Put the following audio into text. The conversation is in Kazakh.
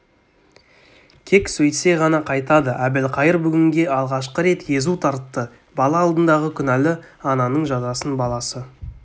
кек сөйтсе ғана қайтады әбілқайыр бүгінге алғашқы рет езу тартты бала алдындағы күнәлі ананың жазасын баласы